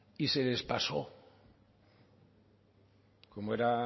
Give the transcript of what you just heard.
y se les pasó como era